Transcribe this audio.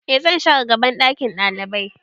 E zan share gaban ɗakin ɗalibai